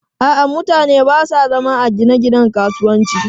A'a, mutane ba sa zama a gine-ginen kasuwanci.